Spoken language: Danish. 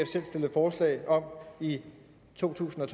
selv stillede forslag om i to tusind og